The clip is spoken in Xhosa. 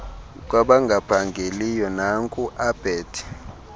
kwabangaphangeliyo naku abet